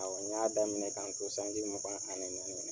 A wa n y'a daminɛ k'an to sanji mugan ani naani.